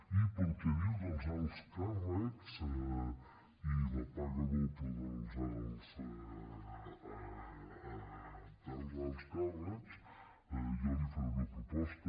i per al que diu dels alts càrrecs i la paga doble dels alts càrrecs jo li faré una proposta